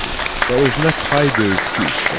Və özünə tay döyüşçü istədi.